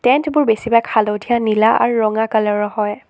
Tent বোৰ বেছিভাগ হালধীয়া নীলা আৰু ৰঙা কালাৰ ৰ হয়।